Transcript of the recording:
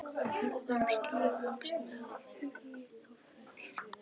Við Hörður slógumst með í þá för.